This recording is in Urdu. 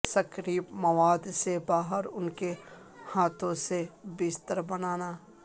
سکریپ مواد سے باہر ان کے ہاتھوں سے بستر بنانا